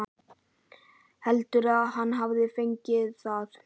Heldurðu að hann hafi fengið það?